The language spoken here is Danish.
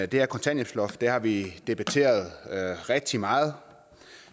det her kontanthjælpsloft har vi debatteret rigtig meget